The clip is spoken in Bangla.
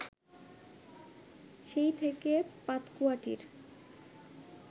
সেই থেকে পাতকুয়াটির